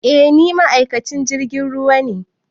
Eh ni ma'aikacin jirgin ruwa ne